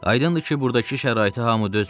Aydındır ki, burdakı şəraitə hamı dözmür.